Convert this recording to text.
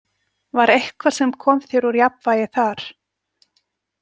Var eitthvað sem kom þér úr jafnvægi þar?